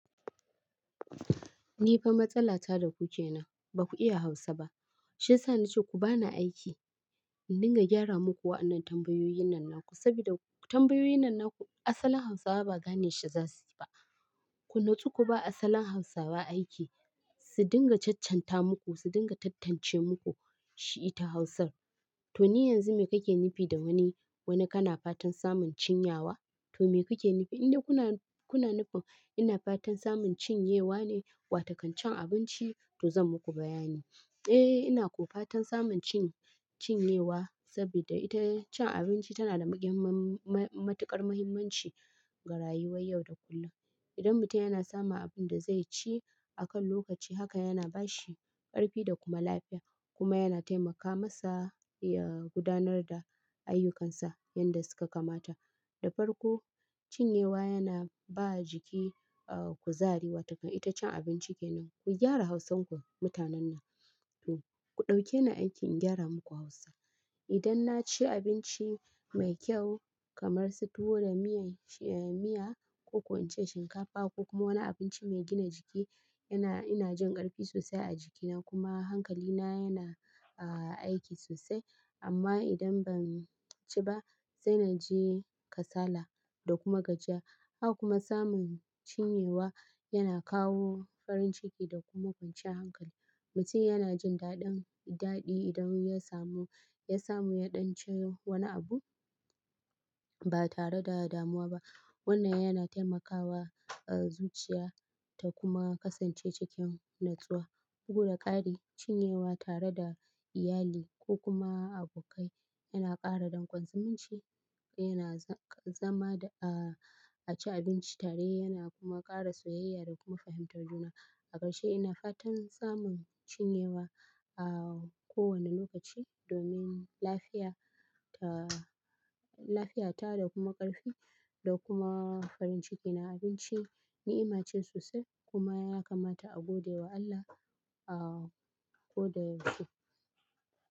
Ni fa matsala ta da ku ke nan, ba ku iya Hausa ba. Shi yasa na ce ku ba ni aiki in dinga gyara muku wa'annan tambayoyin nan naku. Sabida tambayoyin nan naku asalin Hausawa ba gane shi za su ba. Ku nutsu ku ba asalin Hausawa aiki, su dinga caccanta muku, su dinga tattance muku. Shi ita Hausar. To ni yanzu mi kake nufi da wani wani kana fatan samun cinyawa to me kuke nufi? Indai kuna nufin ina fatan samun cinyewa ne, wato kan cin abinci? To zan muku bayani. Eh ina ko fatan samun cin, cinyewa sabida ita cin abinci tana da matuƙar muhimmanci ga rayuwar yau da kullum. Idan mutum yana samun abin da zai ci akan lokaci, haka yana ba shi ƙarfi da kuma lafiya kuma yana taimaka masa ya gudanar da ayyukansa yanda suka kamata. Da farko, cinyewa yana ba jiki, ah kuzari wato kan ita cin abinci kenan. Ku gyara Hausanku mutanen nan. To ku ɗauke ni aiki in gyara muku Hausa. Idan na ci abinci mai kyau kamar su tuwo da miyan, eh miya ko kuwa in ci shinkafa ko kuma wani abinci mai gina jiki, yana, ina jin ƙarfi sosai a jikina kuma hankalina yana, ah aiki sosai. Amma idan ban ci ba, sai na ji kasala da kuma gajiya. Haka kuma samun cinyewa, yana kawo farin ciki da kuma kwanciyar hankali. Mutum yana jin daɗin, daɗi idan ya samu, ya samu ya ɗan ci wani abu ba tare da damuwa ba. Wannan yana taimakawa, a zuciya ta kuma kasance cikin natsuwa. Bugu da ƙari, cinyewa tare da iyali ko kuma abokai yana ƙara dangon zumunci. Yana zama a ci abinci tare yana kuma ƙara soyayya da kuma fahimtar juna. A ƙarshe ina fatan samun cinyewa a kowane lokaci domin lafiya ta, lafiya ta da kuma ƙarfi da kuma farin ciki na. Abinci ni'ima ce sosai kuma yana kamata a gode wa Allah a ko da yaushe.